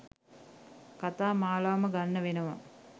කතා මාලාවම ගන්න වෙනවා.